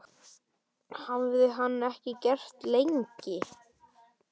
Það hafði hann ekki gert lengi.